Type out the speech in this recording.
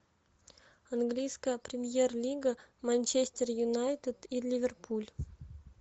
английская премьер лига манчестер юнайтед и ливерпуль